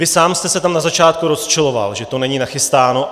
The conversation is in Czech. Vy sám jste se tam na začátku rozčiloval, že to není nachystáno.